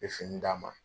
N ye fini d'a ma